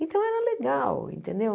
Então era legal, entendeu?